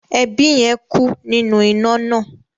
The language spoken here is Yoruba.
Ẹbí yẹn ku ninu ina naa.